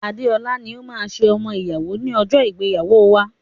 Adeola ni ó máa ṣe ọmọ ìyàwó ní ọjọ́ ìgbéyàwóo wa.